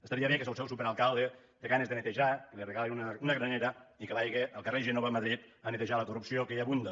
estaria bé que si el seu superalcalde té ganes de netejar li regalin una granera i que vagi al carrer gènova a madrid a netejar la corrupció que hi abunda